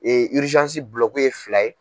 bulɔku ye fila ye.